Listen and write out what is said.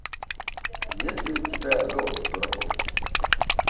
есть ли у тебя золото дураков